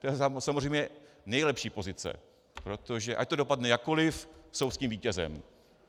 To je samozřejmě nejlepší pozice, protože ať to dopadne jakkoli, jsou s tím vítězem.